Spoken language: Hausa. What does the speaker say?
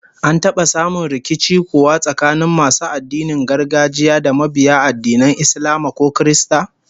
An taba samun rikici kuwa tsakanin masu addinin gargajiya da mabiya addinan Islama ko Kirista?